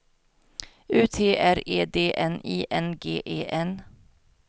U T R E D N I N G E N